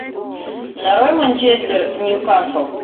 нарой манчестер ньюкасл